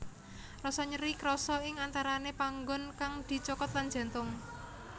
Rasa nyeri krasa ing antarane panggon kang dicokot lan jantung